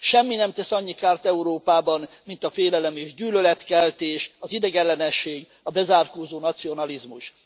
Semmi nem tesz annyi kárt Európában, mint a félelem és gyűlöletkeltés, az idegenellenesség, a bezárkózó nacionalizmus.